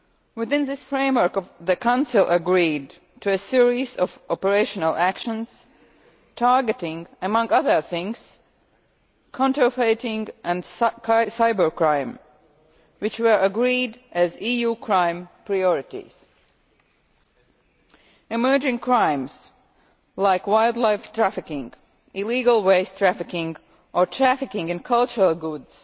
Within this framework the Council agreed to a series of operational actions targeting, among other things, counterfeiting and cybercrime, which were agreed as EU crime priorities. Emerging crimes, like wildlife trafficking, illegal waste trafficking or trafficking in cultural goods,